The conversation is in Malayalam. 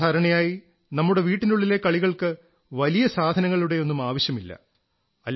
സാധാരണയായി നമ്മുടെ വീട്ടിനുള്ളിലെ കളികൾക്ക് വലിയ സാധനങ്ങളുടെയൊന്നും ആവശ്യമില്ല